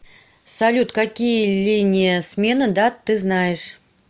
салют какие линия смены дат ты знаешь